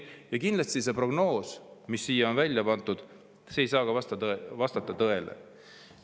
Ja kindlasti see prognoos, mis siia on välja pandud, ei saa ka vastata tõele.